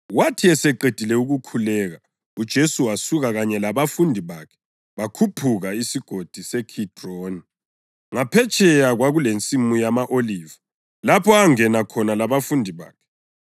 Wathi eseqedile ukukhuleka, uJesu wasuka kanye labafundi bakhe bakhuphuka iSigodi seKhidroni. Ngaphetsheya kwakulensimu yama-Oliva lapho angena khona labafundi bakhe.